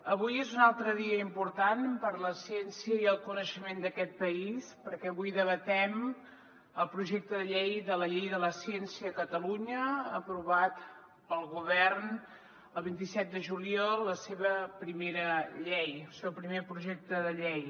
avui és un altre dia important per a la ciència i el coneixement d’aquest país perquè avui debatem el projecte de llei de la llei de la ciència a catalunya aprovat pel govern el vint set de juliol la seva primera llei el seu primer projecte de llei